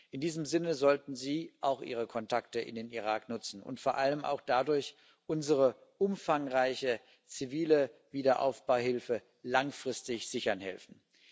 In diesem Sinne sollten Sie auch Ihre Kontakte in den Irak nutzen und vor allem auch dadurch unsere umfangreiche zivile Wiederaufbauhilfe langfristig sichern helfen.